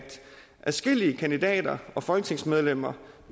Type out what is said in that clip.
adskillige kandidater og folketingsmedlemmer